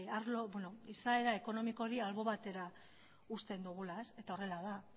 arlo izaera ekonomikori albo batera uzten dugula eta horrela da